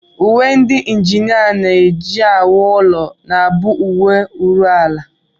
Uwe ndị njinịa na-ewu ụlọ na-abụ uwe nruala